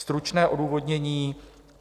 Stručné odůvodnění: